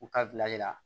U ka bila i la